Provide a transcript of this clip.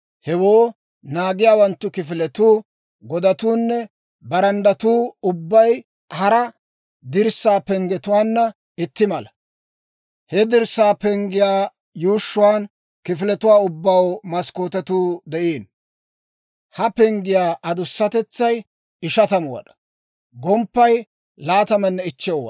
Hewoo naagiyaawanttu kifiletuu, godatuunne baranddatuu ubbay hara dirssaa penggetuwaanna itti mala. He dirssaa penggiyaa yuushshuwaan kifiletuwaa ubbaw maskkootetuu de'iino. Ha penggiyaa adusatetsay 50 wad'aa; gomppaykka 25 wad'aa.